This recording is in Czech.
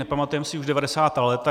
Nepamatujeme si už 90. léta.